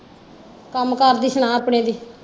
ਕੰਮ ਕਾਰ ਦੀ ਸੁਣਾ ਆਪਣੀ ਦੀ।